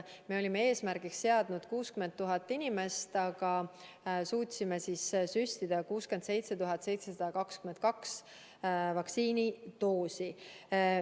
Me olime eesmärgiks seadnud vaktsineerida 60 000 inimest, aga suutsime süstida 67 722 vaktsiinidoosi.